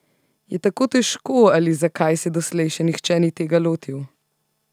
Je tako težko ali zakaj se doslej še nihče ni tega lotil?